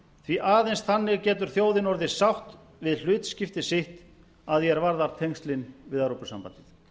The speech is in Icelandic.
því aðeins þannig getur þjóðin orðið sátt við hlutskipti sitt að því er varðar tengslin við evrópusambandið